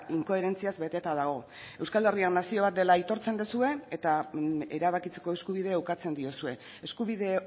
inkoherentziaz beteta dago euskal herria nazio bat dela aitortzen duzue eta erabakitzeko eskubidea ukatzen diozue eskubide